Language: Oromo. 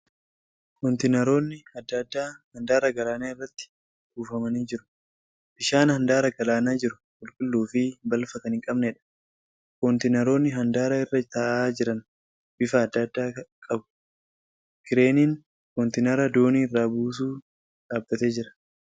Kontiinaroonni adda addaa handaara galaanaa irratti buufamanii jiru. Bishaan handaara galaanaa jiru qulqulluu fi balfa kan hin qabneedha . Kontiinaroonni handaara irra taa'aa jiran bifa adda addaa qabu. Kireeniin kontiinara doonii irraa buusu dhaabbatee jira.